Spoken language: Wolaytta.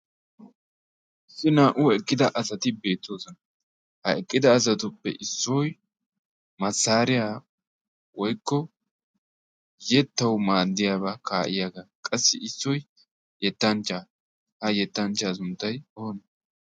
issi naa'u eqqida asati beettoosona ha eqqida asatuppe issoy massaariyaa woikko yettau maaddiyaabaa kaa'iyaagaa qassi issoi yettanchchaa ha yettanchchaa sunttai oona?